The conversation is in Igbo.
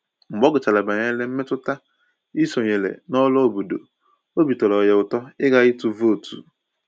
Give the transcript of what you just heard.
Mgbe ọ gụchàrà banyere mmetụta ịsonyere na ọrụ obodo, obi tọrọ ya ụtọ ịga ịtụ vootu